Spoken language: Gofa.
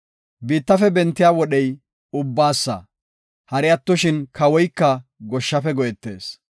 Biittafe bentiya wodhey ubbaasa; hari attoshin, kawoyka goshshafe go7etees.